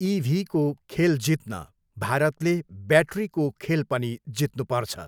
इभीको खेल जित्न भारतले ब्याट्रीको खेल पनि जित्नुपर्छ।